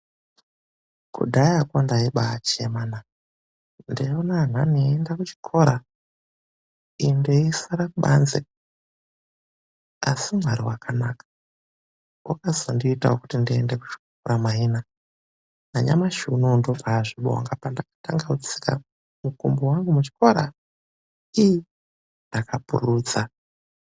Kudhayako ndaibachemanaa , ndinoona andanhi eienda kuchikoro inini ndeisara kubanze , asi Mwari wakanaka , wakazondiitawo ndiendewo kuchikora maina nanyamashi unou ndinobazvibonga pandakatanga kutsika mukumbo wangu kuchikora iii ndakapururudza .